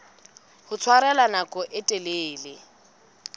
ho tshwarella nako e telele